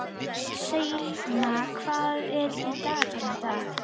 Selina, hvað er á dagatalinu í dag?